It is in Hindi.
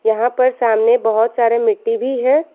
यहां पर सामने बहुत सारे मिट्टी भी है।